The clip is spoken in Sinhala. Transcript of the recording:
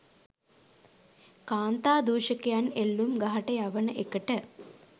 කාන්තා දූෂකයන් එල්ලුම් ගහට යවන එකට